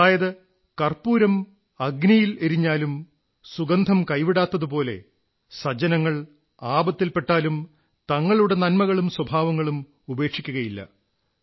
അതായത് കർപ്പൂരം അഗ്നിയിലെരിഞ്ഞാലും സുഗന്ധം കൈവിടാത്തതുപോലെ സജ്ജനങ്ങൾ ആപത്തിൽ പെട്ടാലും തങ്ങളുടെ നൻമകളും സ്വഭാവങ്ങളും ഉപേക്ഷിക്കയില്ല